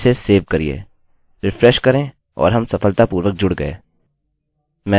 मैं क्या करूँगा कि इसका एक अभिलेख रखूँगा और बोलूँगा कि मैं सफलतापूर्वक जुड़ा हूँ